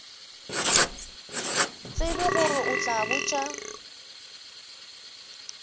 tsebe gore o tla botša